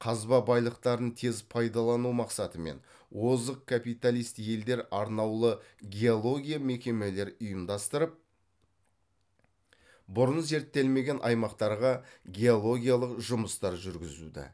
қазба байлықтарын тез пайдалану мақсатымен озық капиталист елдер арнаулы геология мекемелер ұйымдастырып бұрын зерттелмеген аймақтарға геологиялық жұмыстар жүргізілді